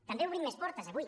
també obrim més portes avui